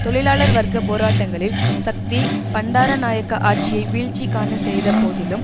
தொழிலாளர் வர்க்க போராட்டங்களில் சக்தி பண்டாரநாயக்க ஆட்சியை வீழ்ச்சி காண செய்த போதிலும்